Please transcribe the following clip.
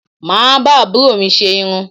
Mà á bá àbúrò mi ṣe irun